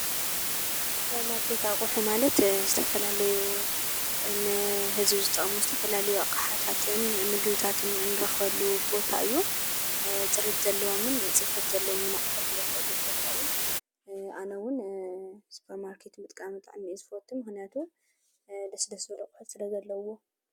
ስፖርማርኬት ኣቁሑት ማለት ዝተፈላለዩ ንህዝቢ ዝጠቅሙ ዝተፈላለዪ ኣቅሓታትን ምግብታትን እንረኽበሉ ቦታ እዩ። ፅሬት ዘለዎምን ፅፈት ዘለዎም ኣቅሑት እንረኽበሉ ቦታ እዩ። ኣነ እውን ስፖርማርኬት ምጥቃም ብጣዕሚ እየ ዝፈቱ ።ምክንያቱ ደስ ደስ ዝበሉ ኣቁሑት ስለዘለዉዎም ።